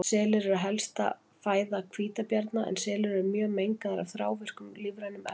Selir eru helsta fæða hvítabjarna en selir eru mjög mengaðir af þrávirkum lífrænum efnum.